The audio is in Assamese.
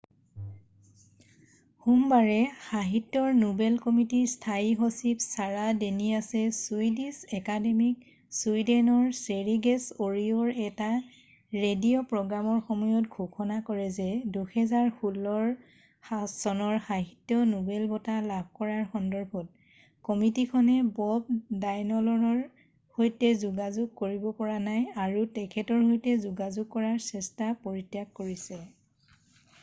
সোমবাৰে সাহিত্যৰ নোবেল কমিটিৰ স্থায়ী সচিব ছাৰা ডেনিয়াছে ছুইডিছ একাডেমীত ছুইডেনৰ স্বেৰিগেছ ৰেডিঅ'ৰ এটা ৰেডিঅ' প্ৰগ্ৰামৰ সময়ত ঘোষণা কৰে যে 2016 চনৰ সাহিত্য নোবেল বঁটা লাভ কৰাৰ সন্দৰ্ভত কমিটিখনে বব ডায়লনৰ সৈতে যোগাযোগ কৰিব পৰা নাই আৰু তেখেতৰ সৈতে যোগাযোগ কৰাৰ চেষ্টা পৰিত্যাগ কৰিছে